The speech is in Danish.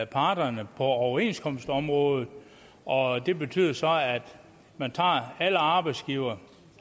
parterne på overenskomstområdet og det betyder så at alle arbejdsgivere